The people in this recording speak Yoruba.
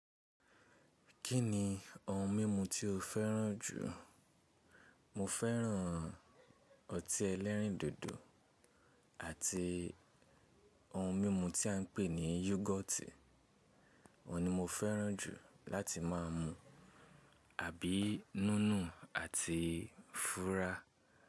Kí ni ohun mímu tí o fẹ́ràn jù? Mo fẹ́ràn ọtí ẹlẹ́rìndòdò àti ohun mímu tí a ń pè ní yogọ̀tì, òun ni mo fẹ́ràn jù láti máa mu, àbí núnù àti fúrá.